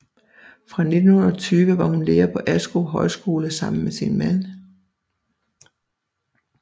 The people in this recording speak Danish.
Fra 1920 var hun lærer på Askov Højskole sammen med sin mand